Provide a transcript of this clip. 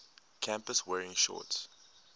campus wearing shorts